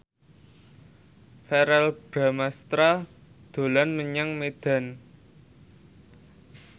Verrell Bramastra dolan menyang Medan